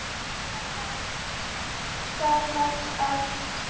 Það var þarft.